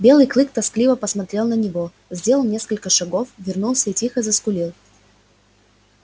белый клык тоскливо посмотрел на него сделал несколько шагов вернулся и тихо заскулил